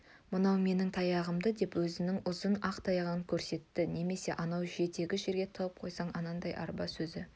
мынау менің таяғымды деп өзінің ұзын ақ таяғын көрсетті немесе анау жетекті жерге тығып қойсаң анадай арба өзі